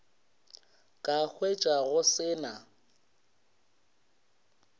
ka hwetša go se na